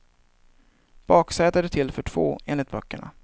Baksätet är till för två, enligt böckerna.